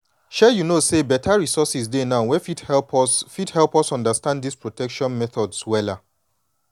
shay you know say beta resources dey now wey fit help us fit help us understand this protection methods wella.